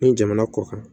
Ni jamana kɔ kan